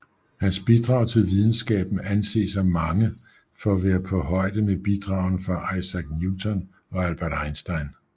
Hans bidrag til videnskaben anses af mange for at være på højde med bidragene fra Isaac Newton og Albert Einstein